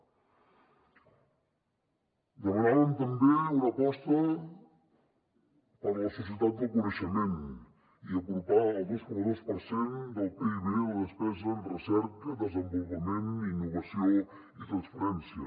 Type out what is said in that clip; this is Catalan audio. demanàvem també una aposta per la societat del coneixement i apropar el dos coma dos per cent del pib a la despesa en recerca desenvolupament innovació i transferència